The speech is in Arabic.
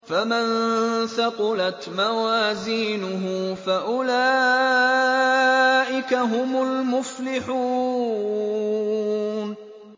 فَمَن ثَقُلَتْ مَوَازِينُهُ فَأُولَٰئِكَ هُمُ الْمُفْلِحُونَ